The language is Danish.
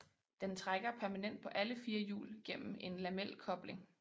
Den trækker permanent på alle fire hjul gennem en lamelkobling